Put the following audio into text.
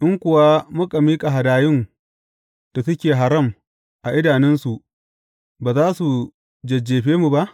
In kuwa muka miƙa hadayun da suke haram a idanunsu, ba za su jajjefe mu ba?